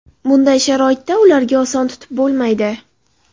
Bunday sharoitda ularga oson tutib bo‘lmaydi.